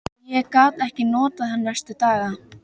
Ég gat ekkert notað hann næstu daga.